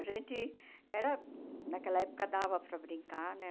A gente era... Naquela época dava para brincar, né?